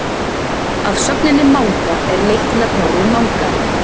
af sögninni manga er leitt nafnorðið mangari